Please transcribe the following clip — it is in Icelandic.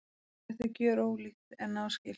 Þetta er gjörólíkt en náskylt.